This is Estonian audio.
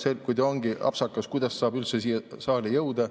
No kui ta ongi apsakas, kuidas saab see üldse siia saali jõuda?!